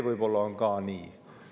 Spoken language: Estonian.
Võib-olla on nii.